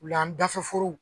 Wula an dafɛforow